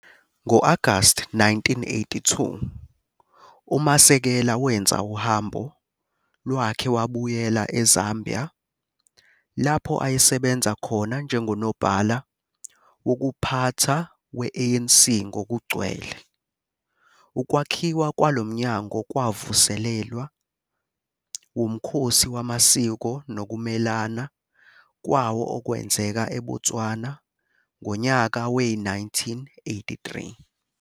Ngo-Agasti 1982 uMasekela wenza uhambo lwakhe wabuyela eZambia lapho ayesebenza khona njengonobhala wokuphatha we-ANC ngokugcwele. Ukwakhiwa kwalo mnyango kwavuselelwa wumkhosi wamasiko nokumelana kwawo okwenzeka eBotswana ngonyaka we-1983.